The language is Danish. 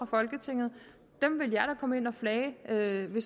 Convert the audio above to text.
folketinget dem vil jeg da komme ind og flage ved